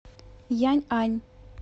яньань